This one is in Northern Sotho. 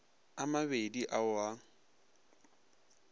a mabedi a o a